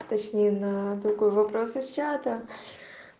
точнее на другой вопрос из чата